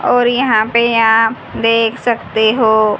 और यहां पे आप देख सकते हो--